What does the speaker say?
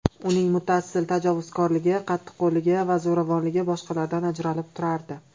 Uning muttasil tajovuzkorligi, qattiqqo‘lligi va zo‘ravonligi boshqalardan ajralib turardi.